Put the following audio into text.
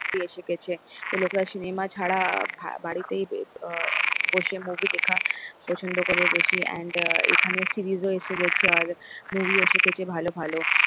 এসে গেছে, local cinema ছাড়া বাড়িতে বসে movie দেখতে পসন্দ করে বেশি and এখানে series ও এসে গেছে and movie ও এসে গেছে ভালো ভালো